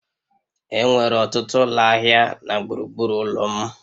Enwere ọtụtụ ụlọ ahịa na gburugburu ụlọ m